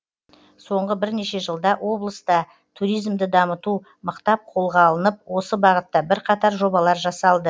соңғы бірнеше жылда облыста туризмді дамыту мықтап қолға алынып осы бағытта бірқатар жобалар жасалды